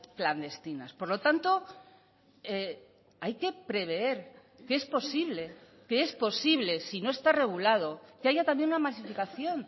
clandestinas por lo tanto hay que prever que es posible que es posible si no está regulado que haya también una masificación